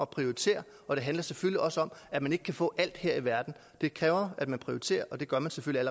prioritere og det handler selvfølgelig også om at man ikke kan få alt her i verden det kræver at man prioriterer og det gør man selvfølgelig